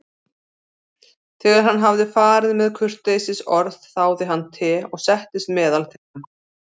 Þegar hann hafði farið með kurteisisorð þáði hann te og settist meðal þeirra.